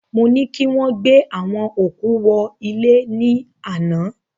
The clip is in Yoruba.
Mo ni kí wọ́n gbé àwọn òkú wọ ilẹ̀ ní àná